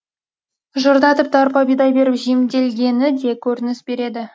жырда тіпті арпа бидай беріп жемделгені де көрініс береді